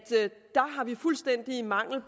en fuldstændig mangel